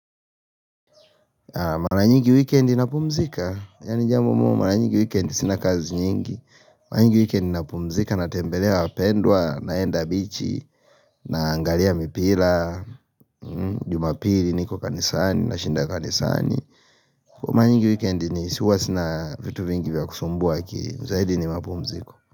Maranyingi weekendi napumzika, ya ni jambomo maranyingi weekendi sinakazi nyingi Maranyingi weekendi napumzika, natembelea wapendwa, naenda bichi, naangalia mipira, mmm jumapili, niko kanisani, na shinda kanisani Maranyingi weekendi ni siwa sina vitu vingi vya kusumbua akiri, zaidi ni mapumziko.